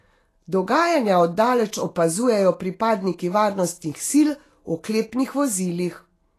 Dogajanja od daleč opazujejo pripadniki varnostnih sil v oklepnih vozilih.